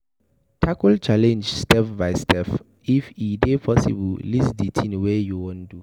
Tackle challenge step by step, if e dey possible list di thing wey you wan do